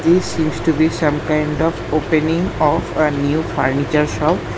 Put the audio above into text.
This used to be some kind of opening of a new furniture shop.